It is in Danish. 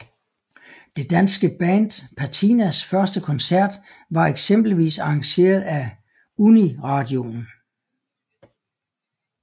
Det danske band Patinas første koncert var eksempelvis arrangeret af Uniradioen